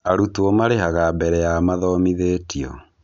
Arutwo marĩhaga mbere ya mathomithĩtio